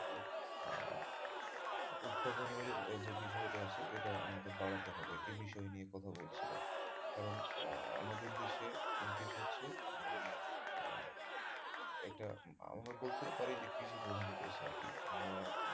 উৎপাদনের যে বিষয় টা আছে এটা আমাদের বাড়াতে হবে এই বিষয় নিয়ে কথা বলছিলো কারন আমাদের দেশে, দেশ হচ্ছে মানে আহ হচ্ছে মানে আমরা বলতে পারি যে একটা কৃষি প্রধান দেশ আরকি আমরা,